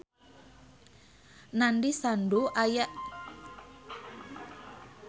Nandish Sandhu aya dina koran poe Saptu